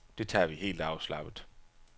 Det tager vi helt afslappet.